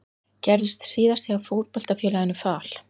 Gerðist síðast hjá Fótboltafélaginu Fal?